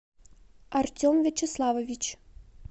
артем вячеславович